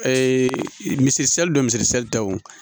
miseli don misisili tɛ wo